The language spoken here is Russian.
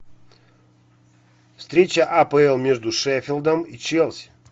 встреча апл между шеффилдом и челси